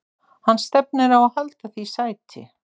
Hann stefnir á að halda því sæti.